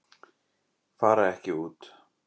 Fara ekki út